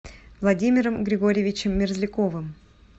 владимиром григорьевичем мерзляковым